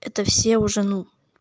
это все уже ну